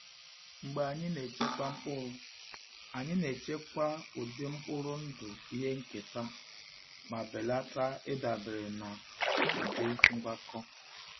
Mgbe anyị na-echekwa mkpụrụ, anyị na-echekwa ụdị mkpụrụ ndụ ihe nketa ma belata ịdabere na ụdị ngwakọ.